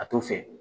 A t'o fɛ